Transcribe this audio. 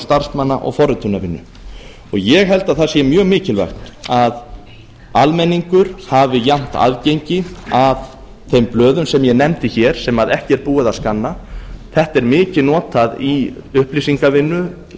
starfsmanna og forritunarvinnu ég held að það sé mjög mikilvægt að almenningur hafi jafnt aðgengi að þeim blöðum sem ég nefndi hér sem ekki er búið að skanna þetta er mikið notað í upplýsingavinnu